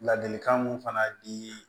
Ladilikan mun fana di